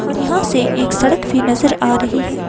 और यहां से एक सड़क भी नजर आ रही है।